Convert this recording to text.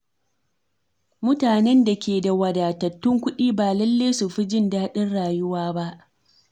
Mutanen da ke da wadatattun kuɗi ba lallai su fi jin daɗin rayuwa ba.